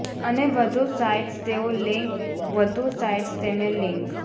અને વધુ સાઇટ્સ તેઓ લિંક વધુ સાઇટ્સ તેમને લિંક